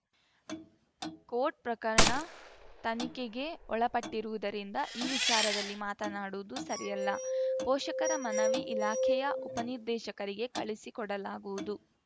coat ಪ್ರಕರಣ ತನಿಖೆಗೆ ಒಳಪಟ್ಟಿರುವುದರಿಂದ ಈ ವಿಚಾರದಲ್ಲಿ ಮಾತನಾಡುವುದು ಸರಿಯಲ್ಲ ಪೋಷಕರ ಮನವಿ ಇಲಾಖೆಯ ಉಪನಿರ್ದೇಶಕರಿಗೆ ಕಳುಹಿಸಿ ಕೊಡಲಾಗುವುದು